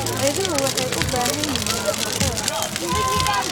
Idaha waxay u baahan yihiin nafaqo wanaagsan.